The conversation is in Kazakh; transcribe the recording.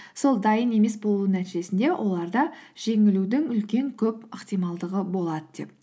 сол дайын емес болуының нәтижесінде оларда жеңілудің үлкен көп ықтималдығы болады деп